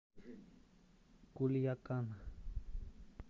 кульякан